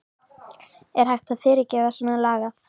Er hægt að fyrirgefa svona lagað?